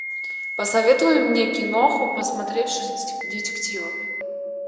посоветуй мне киноху посмотреть детективы